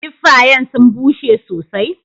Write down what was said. Kiffayen sun bushe sosai.